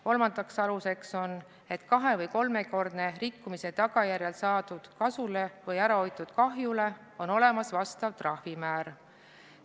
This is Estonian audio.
Kolmas alus on see, et kahe- või kolmekordse rikkumise tagajärjel saadud kasule või ärahoitud kahjule on olemas vastav trahvimäär.